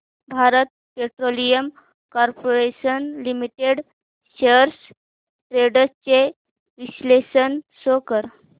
Bharat petroleum corporation limited shares trends चे विश्लेषण show कर